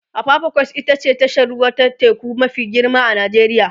apapa quays ita ce tashar ruwa ta teku mafi girma a Najeriya